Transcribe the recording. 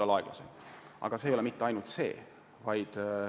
Aga küsimus ei ole mitte ainult selles.